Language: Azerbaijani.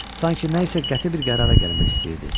Sanki nəyisə qəti bir qərara gəlmək istəyirdi.